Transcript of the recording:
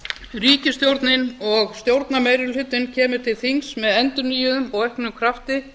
ríkisstjórnin og stjórnarmeirihlutinn kemur til þings með endurnýjuðum og auknum krafti